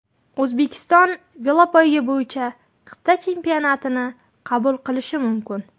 O‘zbekiston velopoyga bo‘yicha qit’a chempionatini qabul qilishi mumkin.